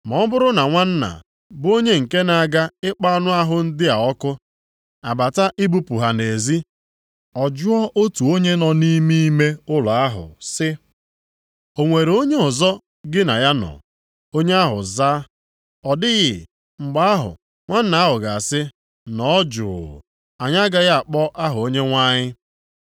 Ma ọ bụrụ na nwanna, bụ onye nke na-aga ịkpọ anụ ahụ ndị a ọkụ, abata ibupụ ha nʼezi, ọ jụọ otu onye nọ nʼime ime ụlọ ahụ sị, “O nwere onye ọzọ gị na ya nọ?” Onye ahụ zaa, “Ọ dịghị,” mgbe ahụ nwanna ahụ ga-asị, “Nọọ jụụ. Anyị agaghị akpọ aha Onyenwe anyị.”